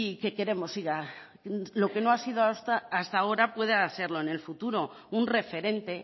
que queremos lo que no ha sido hasta ahora pueda serlo en el futuro un referente